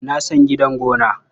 Na san gidan gona.